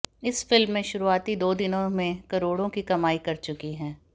इस फिल्म में शुरूआती दो दिनों में करोड़ों की कमाई कर चुकी है